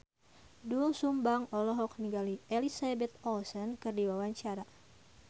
Doel Sumbang olohok ningali Elizabeth Olsen keur diwawancara